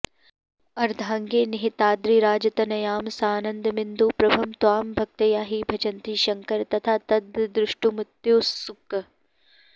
अर्धाङ्गे निहिताद्रिराजतनयां सानन्दमिन्दुप्रभं त्वां भक्त्या हि भजन्ति शङ्कर तथा तद्द्रष्टुमत्युत्सुकः